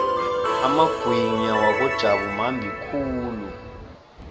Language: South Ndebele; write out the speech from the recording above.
amagwinya wakojabu mambi khulu